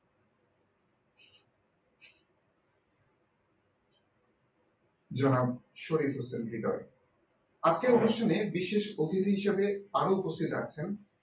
যারা শহীদ হয়েছেন হৃদয়ে আজকের অনুষ্ঠানে বিশেষ অতিথি হিসেবে আরো উপস্থিত আছেন